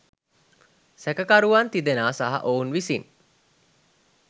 සැකකරුවන් තිදෙනා සහ ඔවුන් විසින්